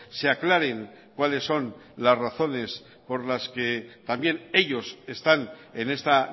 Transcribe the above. se aclaren cuáles son las razones por las que también ellos están en esta